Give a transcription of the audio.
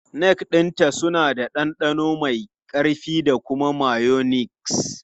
Kek ɗinta suna da ɗanɗano mai ƙarfi da mayonnaise.